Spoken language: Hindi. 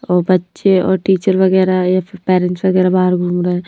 और बच्चे और टीचर वगैरह या फिर पेरेंट्स वगैरह बाहर घूम रहे हैं।